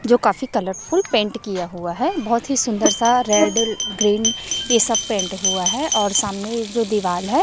जो काफी colourful paint किया हुआ है बहुत ही सुंदर सा रेड ग्रीन ये सब पेंट हुआ है और सामने ये जो दीवाल है।